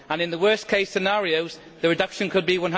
In the worst case scenarios, the reduction could be